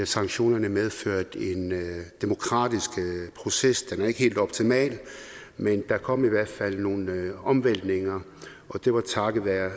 sanktionerne medførte en demokratisk proces den har ikke været helt optimal men der kom i hvert fald nogle omvæltninger og det var takket være